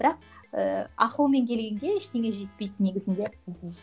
бірақ ыыы ақылмен келгенге ештеңе жетпейді негізінде мхм